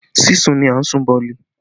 Sísun ni a ń sun boolì